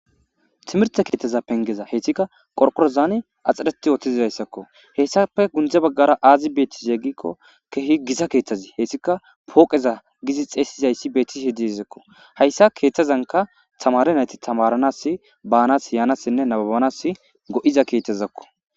Timirte keetaza pengeza heyshtsika qorqorozan axxareti yootizidayssakko hessape gundze baggara aazi beetti eggikko kehi giza keeththazi heyssika pooqeza gizi xeesizayssi beettisi hiddi hizekko hayssa keeththazanka tamare nayti tamaranas baanas yaanassinne naabanas go7iza keethezakko